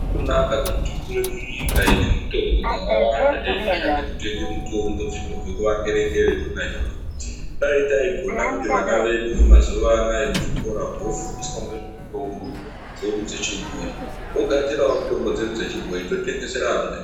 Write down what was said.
Azvina kunaka kuti tikure munyika ine mitombo dzakawanda teindoshande kutenga mitombo dzinobve kuvangere ngere. Dai taigona kuti vana vedu vemazuwa anaa muzvikora umwo vofundiswa ngezvemitombo dzedu dzechibhoyi vogadzirawo mitombo dzedu dzechibhoyi totengesera vamweni.